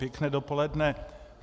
Pěkné dopoledne.